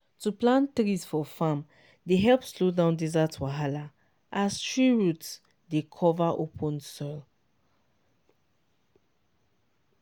to plant trees for farm dey help slow down desert wahala as tree root dey cover open soil.